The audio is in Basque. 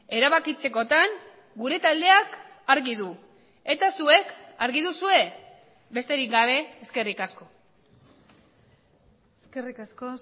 erabakitzekotan gure taldeak argi du eta zuek argi duzue besterik gabe eskerrik asko eskerrik asko